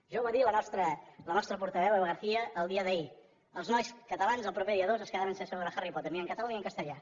ja ho va dir la nostra portaveu eva garcía el dia d’ahir els nois catalans el proper dia dos es quedaran sense veure harry potter ni en català ni en castellà